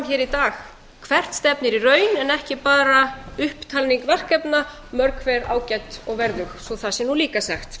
hér í dag hvert stefnir í raun en ekki bara upptalning verkefna mörg hver ágæt og verðug svo það sé nú líka sagt